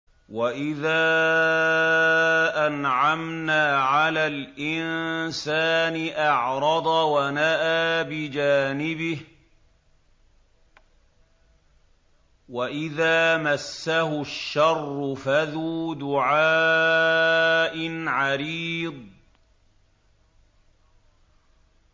وَإِذَا أَنْعَمْنَا عَلَى الْإِنسَانِ أَعْرَضَ وَنَأَىٰ بِجَانِبِهِ وَإِذَا مَسَّهُ الشَّرُّ فَذُو دُعَاءٍ عَرِيضٍ